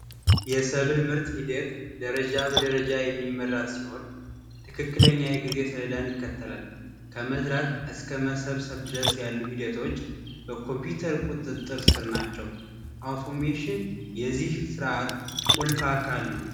የሰብል ምርት ሂደት ደረጃ በደረጃ የሚመራ ሲሆን ትክክለኛ የጊዜ ሰሌዳን ይከተላል። ከመዝራት እስከ መሰብሰብ ያሉ ሂደቶች በኮምፒውተር ቁጥጥር ስር ናቸው። አውቶሜሽን የዚህ ስርአት ቁልፍ አካል ነው።